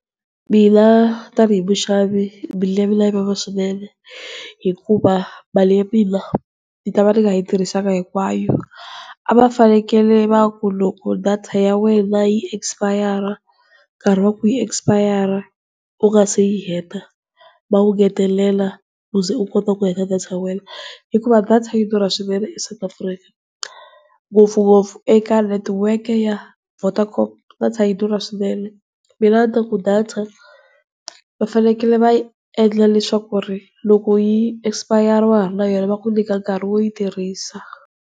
Mina tani hi muxavi mbilu ya mina yi vava swinene. Hikuva mali ya mina ni ta va ni nga yi tirhisanga hinkwayo. A va fanekele va ku loko data ya wena yi expire nkarhi wa ku yi expire u nga se yi heta, va wu ngetelela u ze u kota ku heta data ya wena, hikuva data yi durha swinene South Afrika, ngopfungopfu eka network ya Vodacom data yi durha swinene. Mina a ni ta ku data va fanekele va yi endla leswaku ku ri loko yi expire wa ha ri na yona va ku nyika nkarhi wo yi tirhisa.